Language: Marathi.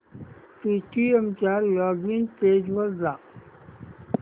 पेटीएम च्या लॉगिन पेज वर जा